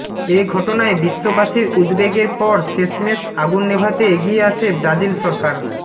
এ ঘটনায় বিশ্ববাসীর উদ্বেগের পর শেষমেশ আগুন নেভাতে এগিয়ে আসে ব্রাজিল সরকার